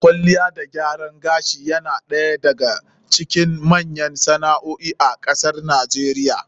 Kwalliya da gyaran gashi yana ɗaya daga cikin manyan sana'o'i a kasar NIGERIA.